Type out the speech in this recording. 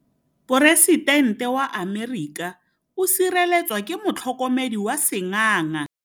Poresitêntê wa Amerika o sireletswa ke motlhokomedi wa sengaga.